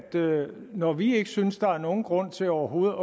når vi ikke synes der er nogen grund til overhovedet